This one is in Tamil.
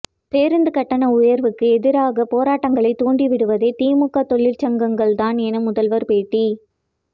பேருந்து கட்டண உயர்வுக்கு எதிரான போராட்டங்களை தூண்டிவிடுவதே திமுக தொழிற்சங்கங்கள் தான் என முதல்வர் பேட்டி